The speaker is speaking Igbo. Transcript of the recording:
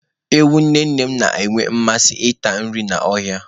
Ewu nne nne m na-enwe mmasị ịta nri n'ọhịa.